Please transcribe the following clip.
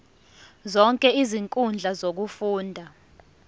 zonke izinkundla zokufunda